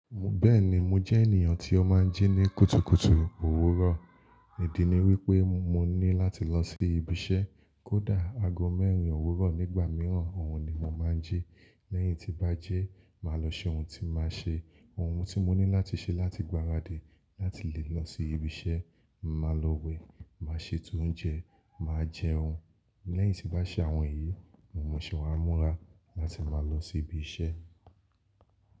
Bẹ́ẹ̀ni mo jẹ́ ènìyàn tí ó máa ń jí ní kùtùkùtù òwúrọ̀. Ìdí ni wípé mo ní láti lọ sí ibi iṣẹ́. Kódà ago mẹ́rin òwúrọ̀ nígbà mìíràn, òun ni mo máa ń jí. Lẹ́yìn tí n bá jí, màá lọ ṣe ohun tí màá ṣe. Ohun tí mo ní láti ṣe láti gbaradì láti lè lọ sí ibi iṣẹ́, màá lọ wẹ̀, màá ṣetò oúnjẹ, màá jẹun. Lẹ́yìn tí bá ṣe àwọn èyí, mo mún ṣẹ̀ wá múra láti máa lọ sí ibi iṣẹ́